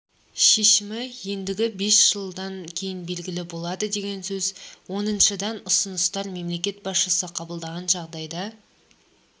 шешімі ендігі бес жылдан кейін белгілі болады деген сөз оныншыдан ұсыныстар мемлекет басшысы қабылдаған жағдайда